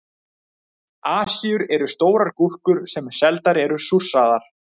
Asíur eru stórar gúrkur sem seldar eru súrsaðar.